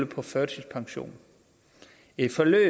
på førtidspension et forløb